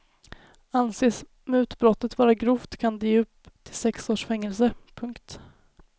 Anses mutbrottet vara grovt kan det ge upp till sex års fängelse. punkt